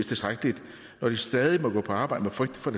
tilstrækkeligt når de stadig må gå på arbejde med frygt for